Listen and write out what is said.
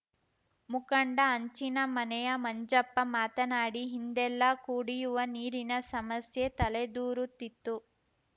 ಮುಖಂಡ ಹಂಚಿನಮನೆಯ ಮಂಜಪ್ಪ ಮಾತನಾಡಿ ಹಿಂದೆಲ್ಲಾ ಕುಡಿಯುವ ನೀರಿನ ಸಮಸ್ಯೆ ತಲೆದೂರುತ್ತಿತ್ತು